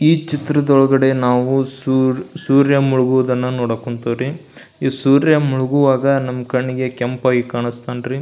ಈ ಚಿತ್ರದ ಒಳಗಡೆ ನಾವು ಸುರ್ ಸೂರ್ಯ ಮುಳುಗುವುದನ್ನ ನೋಡಕ್ ಹೊಂಥಿವಿ ರೀ ಈ ಸೂರ್ಯ ಮುಳುಗುವಾಗ ನಮ್ ಕಣ್ಣಿಗೆ ಕೆಂಪ್ ಆಗಿ ಕಾನಿಸ್ತಾನ್ ರೀ.